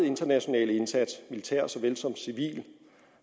internationale indsats militære såvel som civile